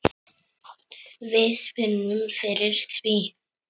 Við finnum fyrir því.